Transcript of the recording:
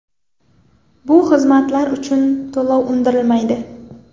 Bu xizmatlar uchun to‘lov undirilmaydi.